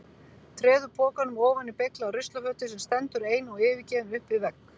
Treður pokanum ofan í beyglaða ruslafötu sem stendur ein og yfirgefin upp við vegg.